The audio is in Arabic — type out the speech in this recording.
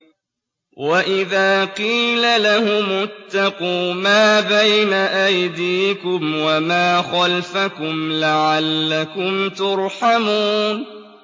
وَإِذَا قِيلَ لَهُمُ اتَّقُوا مَا بَيْنَ أَيْدِيكُمْ وَمَا خَلْفَكُمْ لَعَلَّكُمْ تُرْحَمُونَ